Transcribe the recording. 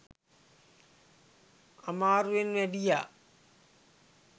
අමාරුවෙන් වැඩියා